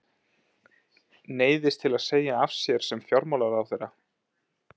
Neyðist til að segja af sér sem fjármálaráðherra.